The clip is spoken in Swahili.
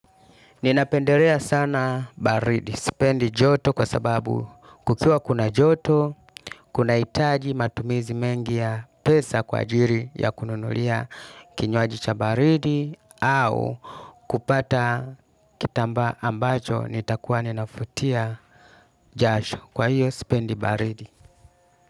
Ninapendelea sana baridi. Sipendi joto kwa sababu kukiwa kuna joto, kuna hitaji matumizi mengi ya pesa kwa ajiri ya kununulia kinywaji cha baridi au kupata kitambaa ambacho nitakuwa ninafutia jasho. Kwa hiyo, sipendi baridi.